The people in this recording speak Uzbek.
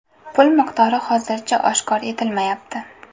Pul miqdori hozircha oshkor etilmayapti.